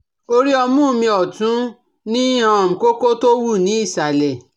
Orí ọmú mi ọ̀tún ní um kókó tó wú ní ìsàlẹ̀